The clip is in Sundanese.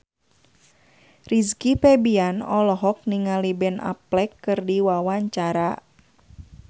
Rizky Febian olohok ningali Ben Affleck keur diwawancara